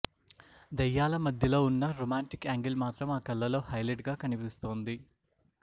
దెయ్యాల మధ్యలో ఉన్నా రొమాంటిక్ యాంగిల్ మాత్రం ఆ కళ్లలో హైలైట్ గా కనిపిస్తోంది